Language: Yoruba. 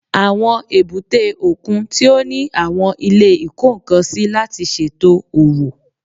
Àwọn èbúté òkun tí ó ní àwọn ilé ìkó-nǹkan-sí láti ṣètò òwò